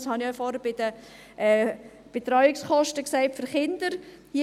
das habe ich ja vorhin bei den Betreuungskosten für Kinder gesagt.